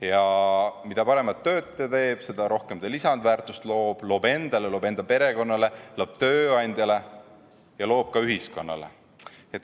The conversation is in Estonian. Ja mida paremat tööd ta teeb, seda rohkem ta lisandväärtust loob – loob endale, loob enda perekonnale, loob tööandjale ja loob ka ühiskonnale.